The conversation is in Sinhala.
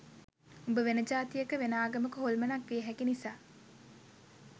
උඹ වෙන ජාතියක වෙන ආගමක හොල්මනක් විය හැකි නිසා